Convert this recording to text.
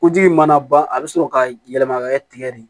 Koji mana ban a bɛ sɔrɔ ka yɛlɛma ka kɛ tigɛ de ye